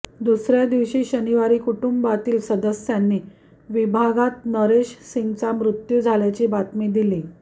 दुसर्या दिवशी शनिवारी कुटुंबातील सदस्यांनी विभागात नरेश सिंगचा मृत्यू झाल्याची बातमी दिली